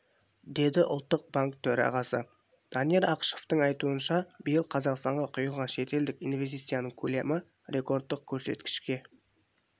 деді ұлттық банк төрағасы данияр ақышевтың айтуынша биыл қазақстанға құйылған шетелдік инвестицияның көлемі рекордтық көрсеткішке